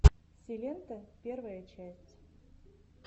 силенто первая часть